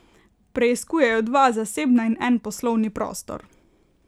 Preiskujejo dva zasebna in en poslovni prostor.